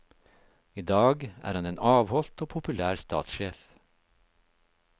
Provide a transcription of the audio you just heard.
I dag er han en avholdt og populær statssjef.